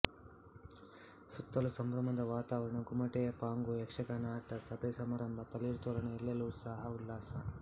ಸುತ್ತಲೂ ಸಂಭ್ರಮದ ವಾತಾವರಣ ಗುಮಟೆಯ ಪಾಂಗು ಯಕ್ಷಗಾನ ಆಟ ಸಭೆಸಮಾರಂಭ ತಳಿರುತೋರಣ ಎಲ್ಲೆಲ್ಲೂ ಉತ್ಸಾಹ ಉಲ್ಲಾಸ